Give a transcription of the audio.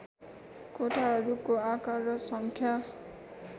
कोठाहरूको आकार र सङ्ख्या